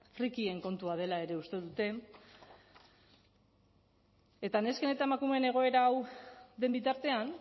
frikien kontua dela ere uste dute eta nesken eta emakumeen egoera hau den bitartean